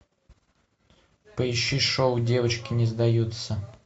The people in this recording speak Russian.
поищи шоу девочки не сдаются